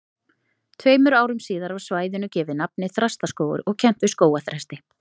Tveimur árum síðar var svæðinu gefið nafnið Þrastaskógur og kennt við skógarþresti.